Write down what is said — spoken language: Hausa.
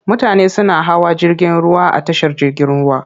Mutane suna hawa jirgin ruwa a tashar jirgin ruwa.